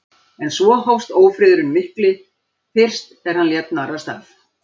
En svo hófst ófriðurinn mikli, fyrst er hann lét narrast af